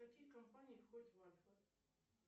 какие компании входят в альфа